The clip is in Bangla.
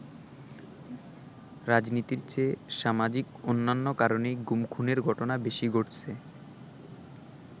রাজনীতির চেয়ে সামাজিক অন্যান্য কারণেই গুম-খুনের ঘটনা বেশি ঘটছে।